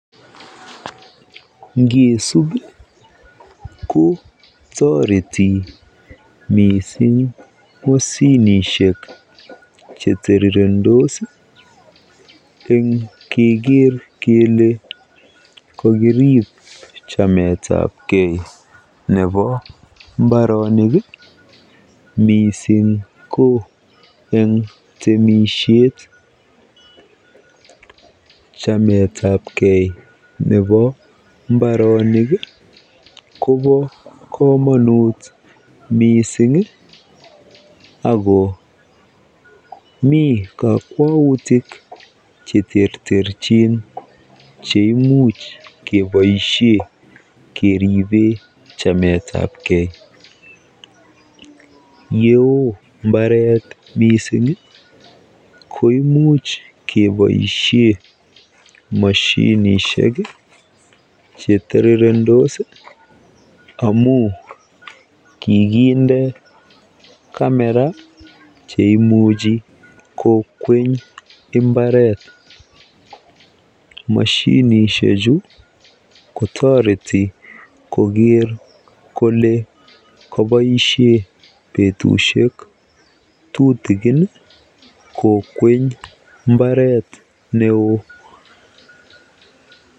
Ngisup kotoreti missing moshinishek chetirirendos eng keker kele kokirip chametagei nebo mbaronik missing ko eng temisiet chametapgei nebo mbaronik ii kobo kamonut missing ii akoo mii kokwoutik cheterterchin cheimuch keboisien keripen chametapgee yee oo mbaret missing ko imuch keboisien moshinishek chetirirendos amun kikindee kamera cheimuch kokweny mbaret ,mashinishechu kotoret koker kole kaboisien betusiek tutigin kaboisien kokweng'ee mbaret ne oo.